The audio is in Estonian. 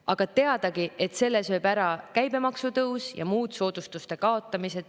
Aga teadagi, selle sööb ära käibemaksu tõus ja soodustuste kaotamine.